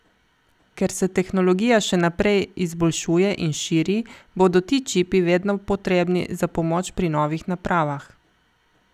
Ker se tehnologija še naprej izboljšuje in širi, bodo ti čipi vedno potrebni za pomoč pri novih napravah.